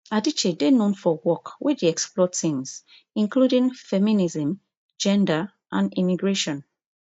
adichie dey known for work wey dey explore themes including feminism gender and immigration